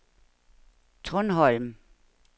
Trundholm